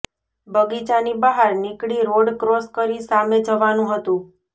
બગીચાની બહાર નીકળી રોડ ક્રોસ કરી સામે જવાનું હતું